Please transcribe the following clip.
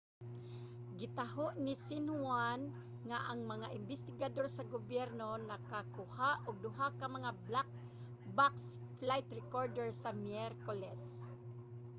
gitaho ni xinhuan nga ang mga imbestigador sa gobyerno nakakuha og duha ka mga 'black box' flight recorder sa miyerkules